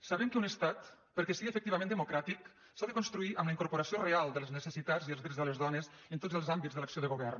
sabem que un estat perquè sigui efectivament demo·cràtic s’ha de construir amb la incorporació real de les necessitats i els drets de les dones en tots els àmbits de l’acció de govern